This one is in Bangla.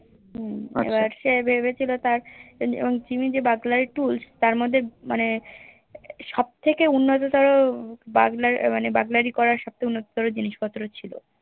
হম এবার সে ভেবেছিলো এ তার Burglary tools তার মধ্যে মানে সবথেকে উন্নত তোরো মানে Burglary করার সবচে উন্নত তোরো জিনিস পত্র ছিল